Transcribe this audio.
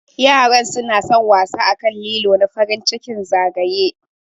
Yaran suna San wasa akan lilo na farin ciki zagaye.